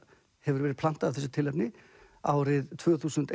hefur verið plantað af þessu tilefni árið tvö þúsund